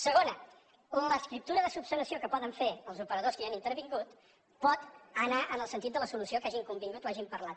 segona l’escriptura d’esmena que poden fer els operadors que hi han intervingut pot anar en el sentit de la solució que hagin convingut o hagin parlat